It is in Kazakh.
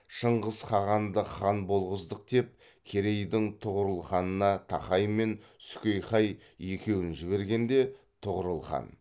шыңғыс хағанды хан болғыздық деп керейдің тұғырылханына тақай мен сүкейхай екеуін жібергенде тұғырыл хан